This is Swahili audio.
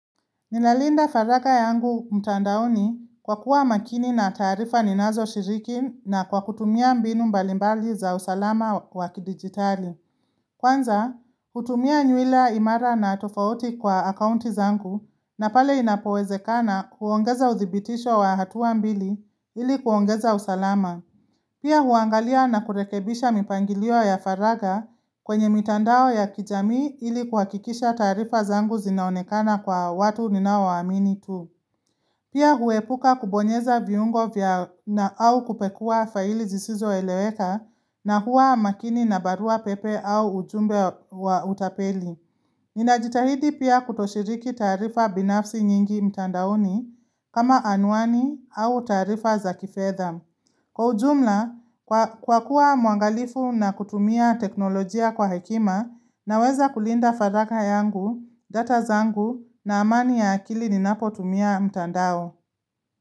Nilalinda faraga yangu mtandaoni kwa kuwa makini na taarifa ninazo shiriki na kwa kutumia mbinu mbalimbali za usalama wakidigitali. Kwanza, kutumia nyuila imara na tofauti kwa akaunti zangu na pale inapoweze kana kuongeza udhibitisho wa hatuwa mbili ili kuongeza usalama. Pia huangalia na kurekebisha mipangilio ya faraga kwenye mitandao ya kijami ili kwa kuakikisha taarifa zangu zinaonekana kwa watu ninaowaamini tu. Pia huepuka kubonyeza viungo vya na au kupekuwa faili zisizo eleweka na hua makini na barua pepe au ujumbe wa utapeli. Nina jitahidi pia kutoshiriki taarifa binafsi nyingi mitandaoni kama anuani au taarifa za kifedha. Kwa ujumla, kwa kuwa muangalifu na kutumia teknolojia kwa hekima na weza kulinda faraka yangu, data zangu na amani ya akili ninapo tumia mtandao.